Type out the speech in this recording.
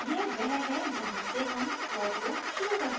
यह वह है जहाँ से हम for loop शुरू करते हैं